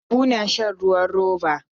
Habu na shan ruwan roba.